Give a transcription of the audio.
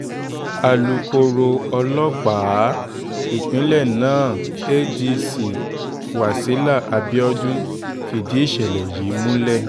alūkkóró ọlọ́pàá ìpínlẹ̀ náà adc wasila abiodun fìdí ìṣẹ̀lẹ̀ yìí múlẹ̀